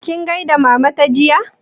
Kin gaida Mama ta jiya?